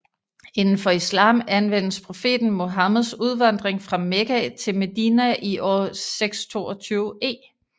Inden for islam anvendes profeten Muhammeds udvandring fra Mekka til Medina i år 622 e